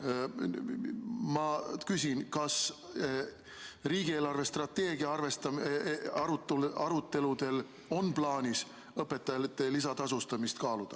Ma küsin, kas riigi eelarvestrateegia aruteludel on plaanis õpetajate lisatasustamist kaaluda.